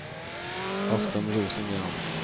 Östen Rosengren